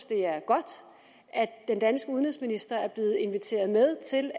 det er godt at den danske udenrigsminister er blevet inviteret med til